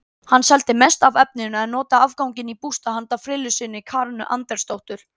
Hann seldi mest af efninu en notaði afganginn í bústað handa frillu sinni Karenu Andersdóttur.